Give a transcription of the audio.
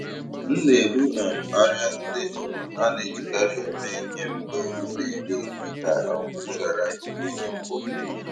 M na-ebu um arịa ndị um a na-ejikarị eme ihe mgbe m na-eri nri ka um m ghara ị bụ ihe mkpofu.